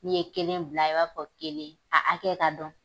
N'i ye kelen bila i b'a fɔ kelen a hakɛ ka dɔn.